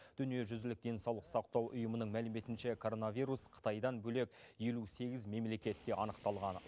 дүниежүзілік денсаулық сақтау ұйымының мәліметінше коронавирус қытайдан бөлек елу сегіз мемлекетте анықталған